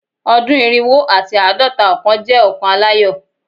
Ọdun irinwo ati aadọta ọkan jẹ ọkan alayọ